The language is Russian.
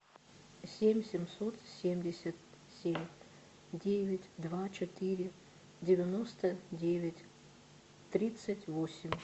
семь семьсот семьдесят семь девять два четыре девяносто девять тридцать восемь